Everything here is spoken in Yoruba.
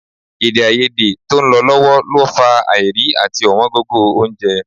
Èdèàìyedè tó ń lọ lọ́wọ́ lọ fà á àìrí àti ọ̀wọ́n gógó oúnjẹ